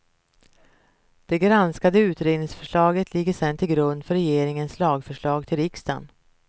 Det granskade utredningsförslaget ligger sen till grund för regeringens lagförslag till riksdagen.